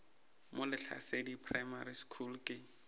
mo lehlasedi primary school ke